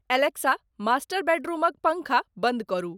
Alexa master बेदरूमक पंखा बंद करु